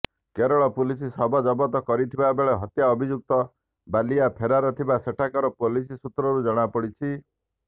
Kerala police ଶବ ଜବତ କରିଥିବା ବେଳେ ହତ୍ୟା ଅଭିଯୁକ୍ତ ବାଲିଆ ଫେରାର ଥିବା ସେଠାକାର ପୁଲିସ ସୂତ୍ରରୁ ଜଣାପଡିଛି